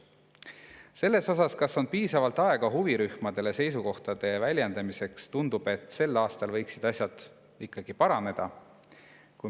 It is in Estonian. Selles osas, kas huvirühmadel on piisavalt aega oma seisukohtade väljendamiseks, tundub, et sel aastal võiksid asjad ikkagi paraneda.